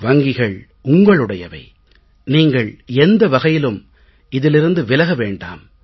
வங்கிகள் உங்களுடையவை நீங்களை எந்த வகையிலும் இதிலிருந்து விலக வேண்டாம்